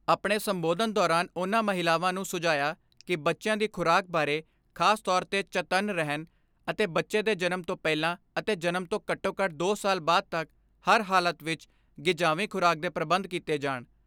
ਆਪਣੇ ਸੰਬੋਧਨ ਦੌਰਾਨ ਉਨ੍ਹਾਂ ਮਹਿਲਾਵਾਂ ਨੂੰ ਸੁਝਾਇਆ ਕਿ ਬੱਚਿਆਂ ਦੀ ਖੁਰਾਕ ਬਾਰੇ ਖਾਸ ਤੌਰ ਤੇ ਚਤੰਨ ਰਹਿਣ ਅਤੇ ਬੱਚੇ ਦੇ ਜਨਮ ਤੋਂ ਪਹਿਲਾਂ ਅਤੇ ਜਨਮ ਤੋਂ ਘੱਟੋਘੱਟ ਦੋ ਸਾਲ ਬਾਅਦ ਤੱਕ ਹਰ ਹਾਲਤ ਵਿਚ ਗਿਜਾਵੀਂ ਖੁਰਾਕ ਦੇ ਪ੍ਰਬੰਧ ਕੀਤੇ ਜਾਣ।